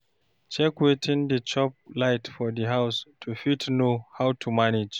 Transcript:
Check wetin dey chop light for di house to fit know how to manage